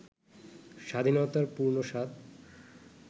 স্বাধীনতার পূর্ণ স্বাদ